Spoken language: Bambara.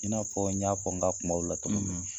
I n'a fɔ n y'a fɔ n ka kumaw la